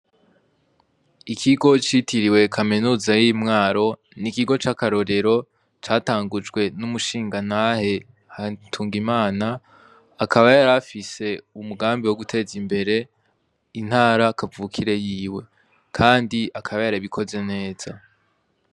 Ikigo citiriwe kaminuza y'imwaro n'ikigo c'akarorero catangujwe n'umushingantahe Hatungimana akaba yari afise umugambi wo guteza imbere intara kavukire yiwe kandi akaba yarabikoze neza.